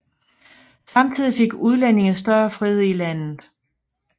Samtidig fik udlændinge større frihed i landet